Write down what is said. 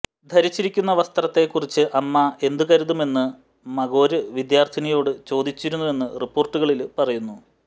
ധരിച്ചിരിക്കുന്ന വസ്ത്രത്തെ കുറിച്ച് അമ്മ എന്തു കരുതുമെന്ന് മഗോര് വിദ്യാര്ഥിനിയോട് ചോദിച്ചിരുന്നുവെന്ന് റിപ്പോര്ട്ടുകളില് പറയുന്നു